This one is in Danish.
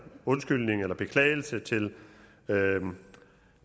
undskyldning eller beklagelse til